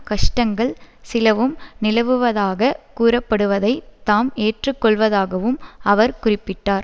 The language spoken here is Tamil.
கஷ்டங்கள் சிலவும் நிலவுவதாக கூறப்படுவதை தாம் ஏற்றுக்கொள்வதாகவும் அவர் குறிப்பிட்டார்